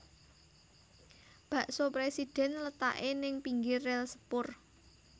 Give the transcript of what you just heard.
Bakso Presiden letake ning pinggir rel sepur